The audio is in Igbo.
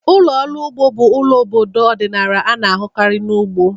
Ụlọ ọrụ ugbo bụ ụlọ ime obodo ọdịnala a na-ahụkarị na ugbo.